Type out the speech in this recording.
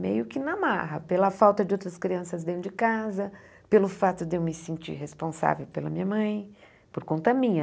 Meio que na marra, pela falta de outras crianças dentro de casa, pelo fato de eu me sentir responsável pela minha mãe, por conta minha.